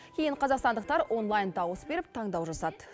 кейін қазақстандықтар онлайн дауыс беріп таңдау жасады